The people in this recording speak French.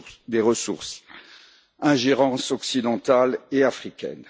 des ressources et ingérences occidentales et africaines.